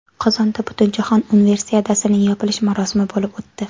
Qozonda Butunjahon Universiadasining yopilish marosimi bo‘lib o‘tdi.